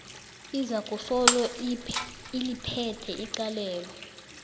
izakusolo iliphethe icalelo